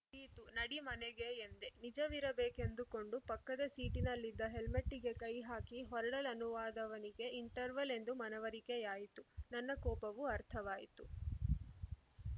ಯಿತು ನಡಿ ಮನೆಗೆ ಎಂದೆ ನಿಜವಿರಬೇಕೆಂದುಕೊಂಡು ಪಕ್ಕದ ಸೀಟಿನಲ್ಲಿದ್ದ ಹೆಲ್ಮೆಟ್ಟಿಗೆ ಕೈಹಾಕಿ ಹೊರಡಲನುವಾದವನಿಗೆ ಇಂಟರ್ವಲ್‌ ಎಂದು ಮನವರಿಕೆಯಾಯಿತು ನನ್ನ ಕೋಪವೂ ಅರ್ಥವಾಯಿತು